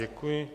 Děkuji.